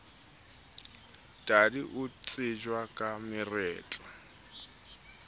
tadi o tsejwa ka mereto